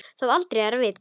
Þó aldrei að vita.